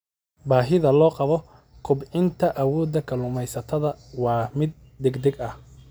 Baahida loo qabo kobcinta awooda kalluumaysatada waa mid degdeg ah.